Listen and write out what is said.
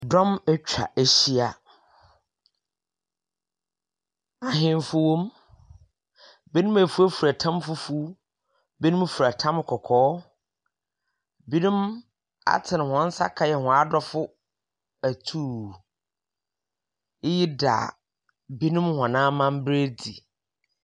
Dɔm etwa ehyia. Ahenfo wɔ mu. Binom efurafura tam fufuw. Binom fura tam kɔkɔɔ. Binom atsen hɔn sa kɛyɛ hɔn atɔfo atuu. Iyi da binom hɔn amamber edzi.